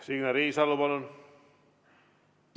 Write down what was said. Signe Riisalo, palun!